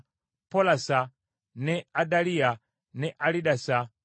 Polasa, ne Adaliya, ne Alidasa,